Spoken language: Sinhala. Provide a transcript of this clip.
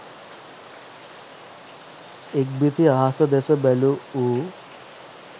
ඉක්බිති අහස දෙස බැලූ ඌ